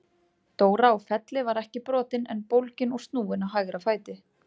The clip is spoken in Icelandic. Dóra á Felli var ekki brotin en bólgin og snúin á hægra fæti.